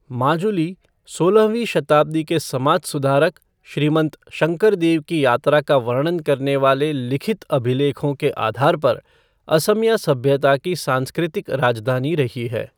माजुली सोलहवीं शताब्दी के समाज सुधारक श्रीमंत शंकरदेव की यात्रा का वर्णन करने वाले लिखित अभिलेखों के आधार पर असमिया सभ्यता की सांस्कृतिक राजधानी रही है।